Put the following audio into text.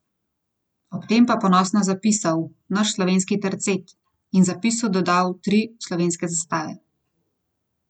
Ob tem pa ponosno zapisal: "Naš slovenski tercet" in zapisu dodal tri slovenske zastave.